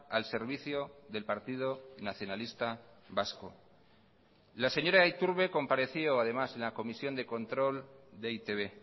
al servicio del partido nacionalista vasco la señora iturbe compareció además en la comisión de control de e i te be